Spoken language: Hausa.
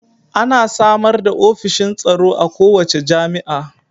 Ana samar da ofishin tsaro a kowace jami'a